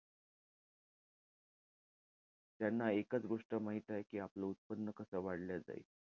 त्यांना एकच गोष्ट माहित आहे कि, आपलं उत्पन्न कस वाढलं जाईल.